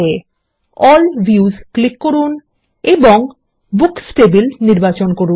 all views click করুন এবং books table নির্বাচন করুন